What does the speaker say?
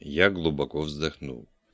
я глубоко вздохнул